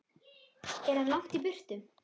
Er hann langt í burtu?